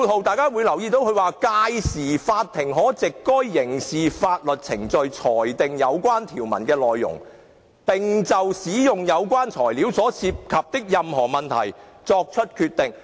第四，律政司說"屆時，法庭可藉該刑事法律程序裁定有關條文的內容，並就使用有關材料所涉及的任何問題作出決定。